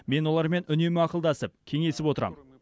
мен олармен үнемі ақылдасып кеңесіп отырам